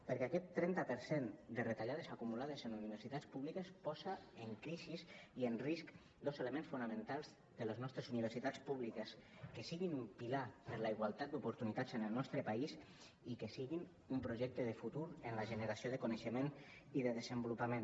perquè aquest trenta per cent de retallades acumulades en universitats públiques posa en crisi i en risc dos elements fonamentals de les nostres universitats públiques que siguin un pilar per a la igualtat d’oportunitats en el nostre país i que siguin un projecte de futur en la generació de coneixement i de desenvolupament